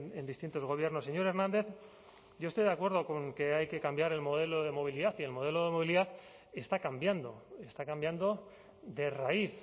en distintos gobiernos señor hernández yo estoy de acuerdo con que hay que cambiar el modelo de movilidad y el modelo de movilidad está cambiando está cambiando de raíz